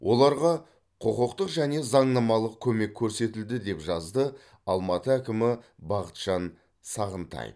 оларға құқықтық және заңнамалық көмек көрсетілді деп жазды алматы әкімі бақытжан сағынтаев